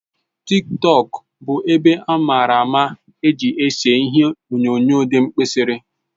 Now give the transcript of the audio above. TikTọk bụ ebe amara amara eji ese ihie onyonyo di mkpirisi